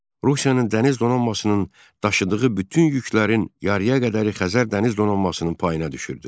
Rusiyanın dəniz donanmasının daşıdığı bütün yüklərin yarıya qədəri Xəzər dəniz donanmasının payına düşürdü.